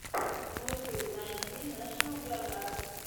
на ютубе найти нэшнл джиографик